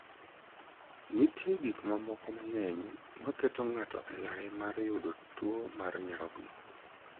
Nitie gik mamoko mang'eny maketo ng'ato e lai ma malo mar yudo tuo nyarogno.